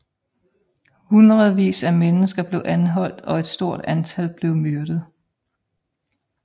Hundredvis af mennesker blev anholdt og et stort antal blev myrdet